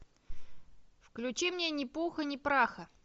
включи мне ни пуха ни праха